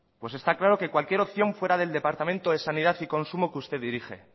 pues está claro que cualquier opción fuera del departamento de sanidad y consumo que usted dirige